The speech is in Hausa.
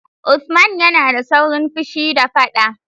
Usman yana da saurin fushi da faɗa.